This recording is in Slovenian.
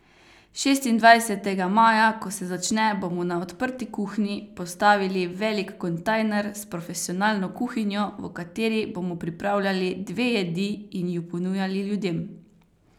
Šestindvajsetega maja, ko se začne, bomo na Odprti kuhni postavili velik kontejner s profesionalno kuhinjo, v kateri bomo pripravljali dve jedi in ju ponujali ljudem.